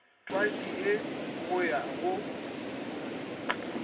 twatši ye go ya go